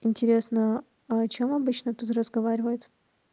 интересно а о чём обычно тут разговаривают